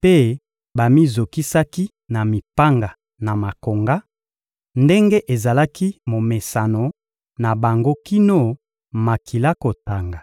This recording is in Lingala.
mpe bamizokisaki na mipanga na makonga, ndenge ezalaki momesano na bango kino makila kotanga.